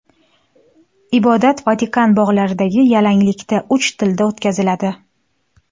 Ibodat Vatikan bog‘laridagi yalanglikda uch tilda o‘tkaziladi.